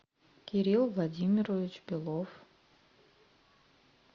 кирилл владимирович белов